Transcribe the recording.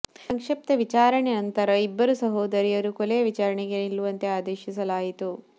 ಸಂಕ್ಷಿಪ್ತ ವಿಚಾರಣೆಯ ನಂತರ ಇಬ್ಬರು ಸಹೋದರಿಯರು ಕೊಲೆಯ ವಿಚಾರಣೆಗೆ ನಿಲ್ಲುವಂತೆ ಆದೇಶಿಸಲಾಯಿತು